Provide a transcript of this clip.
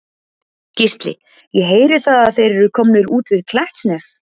Gísli: Ég heyri það að þeir eru komnir út við Klettsnef?